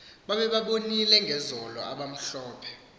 babebabonile ngezolo abamhlophe